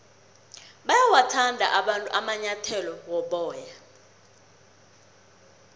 bayawathanda abantu amanyathele woboya